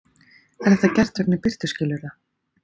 Er þetta gert vegna birtuskilyrða